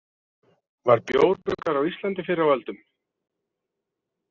Var bjór bruggaður á Íslandi fyrr á öldum?